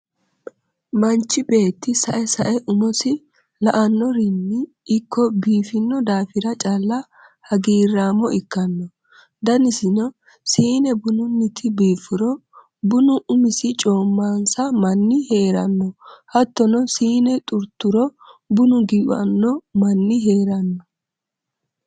Manchi beettu sae sae umosi la"anorinni ikko biifino daafira calla hagiiramo ikkano danisinni siine bunuti biifuro bunu umisi coomanonsa manni heerano hattono siine xurturo buna giwano manni heerano.